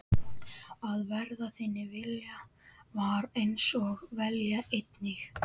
Að verði þinn vilji, var hans vilji einnig.